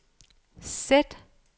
sæt